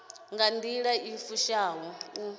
nga nḓila i fushaho u